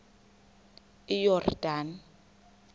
iyordane